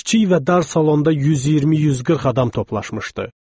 Kiçik və dar salonda 120-140 adam toplaşmışdı.